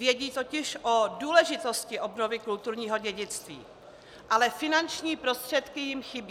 Vědí totiž o důležitosti obnovy kulturního dědictví, ale finanční prostředky jim chybí.